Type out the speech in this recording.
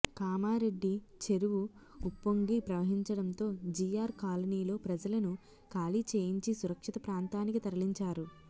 కామారెడ్డి చెరువు ఉప్పొ ంగి ప్రవహించడంతో జిఆర్ కాలనీలో ప్రజలను ఖాళీ చేయించి సురక్షిత ప్రాంతానికి తరలించారు